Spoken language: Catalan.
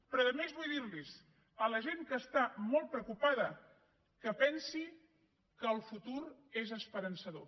però a més vull dir a la gent que està molt preocupada que pensi que el futur és esperançador